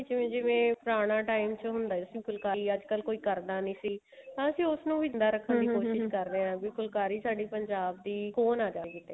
ਜਿਵੇਂ ਜਿਵੇਂ ਪੁਰਾਣਾ time ਹੁੰਦਾ ਸੀ ਅੱਜਕਲ ਕੋਈ ਕਰਦਾ ਨੀ ਸੀ ਪਰ ਅਸੀਂ ਉਸ ਨੂੰ ਵੀ ਦੀ ਕੋਸ਼ਿਸ਼ ਕਰੇ ਹਾਂ ਫੁਲਕਾਰੀ ਸਾਡੀ ਪੰਜਾਬ ਦੀ ਖੋ ਨਾ ਜਾਵੇ